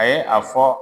A ye a fɔ